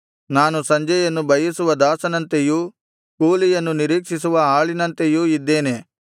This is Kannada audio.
ನಾನು ಸಂಜೆಯನ್ನು ಬಯಸುವ ದಾಸನಂತೆಯೂ ಕೂಲಿಯನ್ನು ನಿರೀಕ್ಷಿಸುವ ಆಳಿನಂತೆಯೂ ಇದ್ದೇನೆ